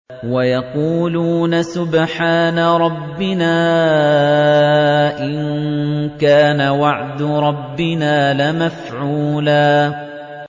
وَيَقُولُونَ سُبْحَانَ رَبِّنَا إِن كَانَ وَعْدُ رَبِّنَا لَمَفْعُولًا